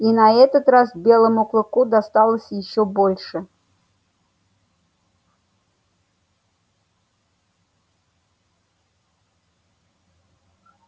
и на этот раз белому клыку досталось ещё больше